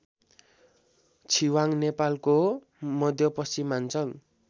छिवाङ नेपालको मध्यपश्चिमाञ्चल